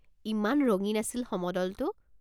ইমান ৰঙীন আছিল সমদলটো।